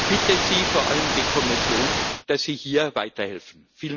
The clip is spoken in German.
Ich bitte Sie, vor allem die Kommission, dass Sie hier weiterhelfen.